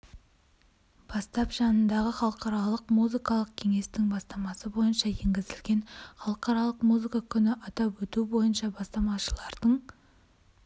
бастап жанындағы халықаралық музыкалық кеңестің бастамасы бойынша енгізілген халықаралық музыка күнін атап өту бойынша бастамашылардың